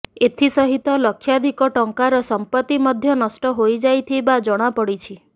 ଏଥିସହିତ ଲକ୍ଷାଧିକ ଟଙ୍କାର ସମ୍ପତ୍ତି ମଧ୍ୟ ନଷ୍ଟ ହୋଇଯାଇଥିବା ଜଣାପଡ଼ିଛି